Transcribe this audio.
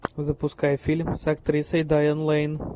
запускай фильм с актрисой дайан лейн